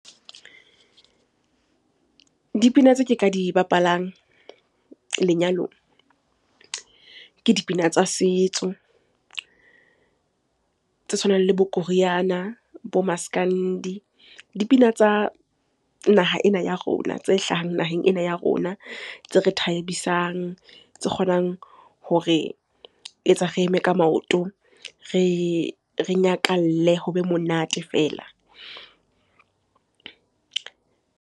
Dipina tse ke ka di bapalang lenyalong, ke dipina tsa setso, tse tshwanang le bo koriana, bo Maskandi. Dipina tsa naha ena ya rona tse hlahang naheng ena ya rona, tse re thabisang, tse kgonang hore etsa re eme ka maoto, re nyakalle ho be monate fela.